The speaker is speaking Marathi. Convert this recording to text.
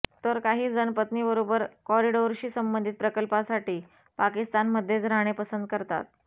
तर काही जण पत्नीबरोबर कॉरिडोरशी संबंधित प्रकल्पासाठी पाकिस्तानमध्येच राहणे पसंत करतात